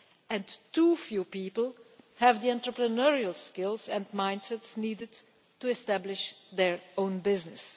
And too few people have the entrepreneurial skills and mindsets needed to establish their own business.